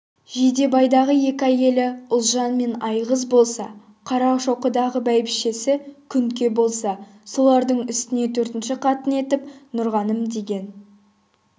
жидебайдағы екі әйелі ұлжан мен айғыз болса қарашоқыдағы бәйбішесі күнке болса солардың үстіне төртінші қатын етіп нұрғаным деген